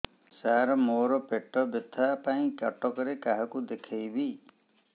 ସାର ମୋ ର ପେଟ ବ୍ୟଥା ପାଇଁ କଟକରେ କାହାକୁ ଦେଖେଇବି